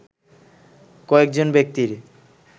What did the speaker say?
কয়েকজন ব্যক্তির